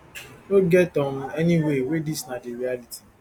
no get um any way wey dis na di reality